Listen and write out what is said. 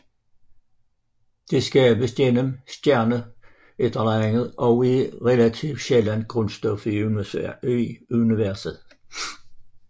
Det skabes gennem stjernenukleosyntese og er et relativt sjældent grundstof i universet